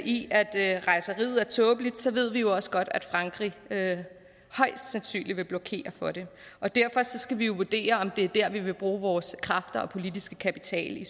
i at at rejseriet er tåbeligt ved vi jo også godt at frankrig højst sandsynligt vil blokere for det og derfor skal vi vurdere om det er der vi vil bruge vores kræfter og politiske kapital i